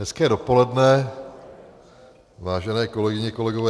Hezké dopoledne, vážené kolegyně, kolegové.